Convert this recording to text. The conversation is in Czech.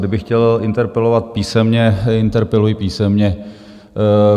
Kdybych chtěl interpelovat písemně, interpeluji písemně.